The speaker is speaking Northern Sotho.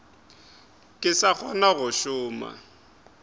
ke sa kgona go šoma